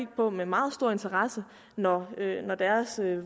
på med meget stor interesse når deres